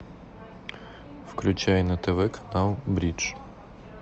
включай на тв канал бридж